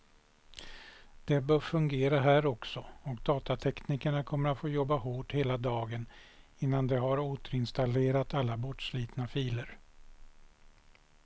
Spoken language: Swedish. Det bör fungera här också, och datateknikerna kommer att få jobba hårt hela dagen innan de har återinstallerat alla bortslitna filer.